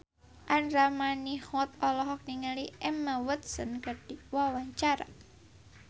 Andra Manihot olohok ningali Emma Watson keur diwawancara